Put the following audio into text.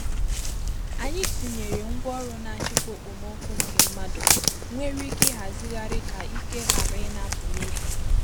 Anyị tinyere ngwaọrụ na-achịkwa okpomọkụ nke mmadụ nwere ike ịhazigharị ka ike ghara ịna-apụ n’efu.